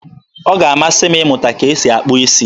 Ọ ga-amasị m ịmụta ka esi akpụ isi